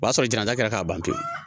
O b'a sɔrɔ jamajɛ kɛra k'a ban pewu